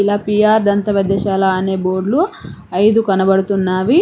ఇలా పీ_ఆర్ దంత వైద్యశాల అనే బోర్డ్లు అయిదు కనపడుతున్నావి.